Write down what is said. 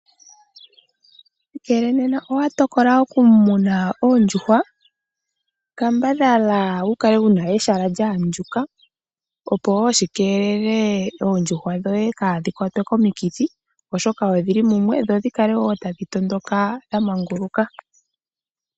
Ngele nena owa tokola okumuna oondjuhwa kambadhala wu kale wuna ehala lyaandjuka, opo woo shikeelele oondjuhwa dhoye kaadhi kwate komikithi oshoka odhi li mumwe, dho dhikale woo tadhi tondoka dhamanguluka.